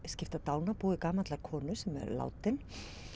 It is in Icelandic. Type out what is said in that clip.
skipta dánarbúi gamallar konu sem er látin